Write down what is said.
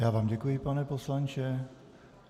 Já vám děkuji, pane poslanče.